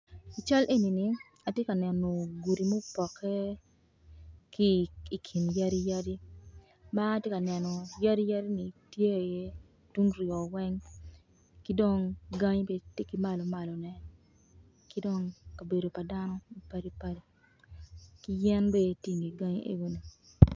I cal enini atye ka neno gudi ma opoke ki i kin yadiyadi ma atye ka neno yadi yadi ni tye iye tung kuryo weng ki dong gangi tye ki malomalone ki dong kabedo pa dano mapadipadi ki yen bene tye i nge gangi enoni.